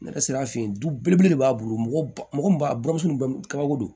Ne sera a fɛ yen du belebele de b'a bolo mɔgɔ ba mɔgɔ bamuso ka kabako don